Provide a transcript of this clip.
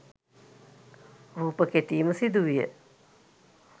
රූප කෙටීම සිදු විය.